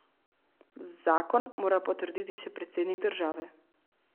Zakon mora potrditi še predsednik države.